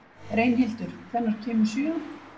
Reynhildur, hvenær kemur sjöan?